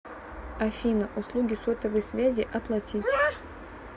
афина услуги сотовой связи оплатить